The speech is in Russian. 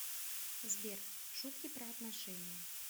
сбер шутки про отношения